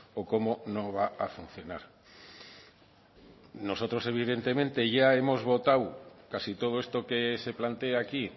o cómo no va a funcionar nosotros evidentemente ya hemos votado casi todo esto que se plantea aquí